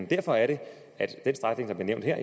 derfor er det at den strækning der bliver nævnt her